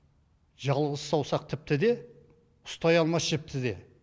жалғыз саусақ тіпті де ұстай алмас жіпті де